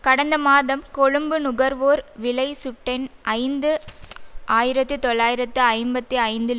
கடந்த மாதம் கொழும்பு நுகர்வோர் விலை சுட்டென் ஐந்து ஆயிரத்தி தொள்ளாயிரத்தி ஐம்பத்தி ஐந்தில்